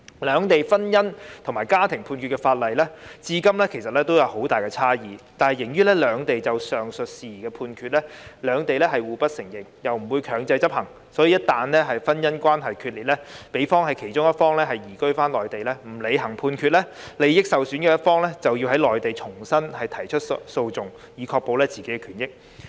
兩地有關婚姻與家庭判決的法律至今仍有很大差異，而由於兩地就上述事宜作出的判決，彼此互不承認，亦不會強制執行，所以，夫婦一旦婚姻關係決裂，如果其中一方移居內地不履行判決，利益受損的一方就要在內地重新提出訴訟，以確保自己的權益。